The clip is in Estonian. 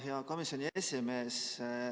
Hea komisjoni esimees!